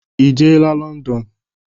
Ị jeela Lọndọnụ?